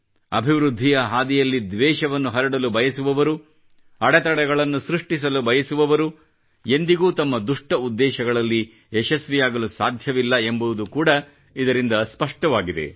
ಅಭಿವೃದ್ಧಿಯ ಹಾದಿಯಲ್ಲಿ ದ್ವೇಷವನ್ನು ಹರಡಲು ಬಯಸುವವರು ಅಡೆತಡೆಗಳನ್ನು ಸೃಷ್ಟಿಸಲು ಬಯಸುವವರು ಎಂದಿಗೂ ತಮ್ಮ ದುಷ್ಟ ಉದ್ದೇಶಗಳಲ್ಲಿ ಯಶಸ್ವಿಯಾಗಲು ಸಾಧ್ಯವಿಲ್ಲ ಎಂಬುದು ಕೂಡ ಇದರಿಂದ ಸ್ಪಷ್ಟವಾಗಿದೆ